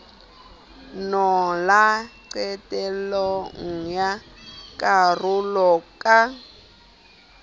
mola qetellong ya karolo ka